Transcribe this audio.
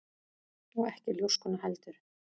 Og ekki ljóskuna heldur.